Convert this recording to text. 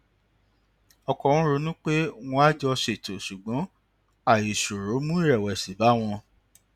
ọkọ wọn ronú pé wón á jọ ṣètò ṣùgbọn àìṣòrò mu ìrèwèsì bá wọn